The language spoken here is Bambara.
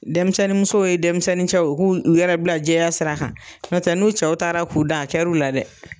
Dɛmisɛnninmuso ye dɛmisɛnnincɛ u k'u yɛrɛ bila jɛya sira kan, ɲɔntɛ n'u cɛw taara k'u dan a kɛr'u la dɛ.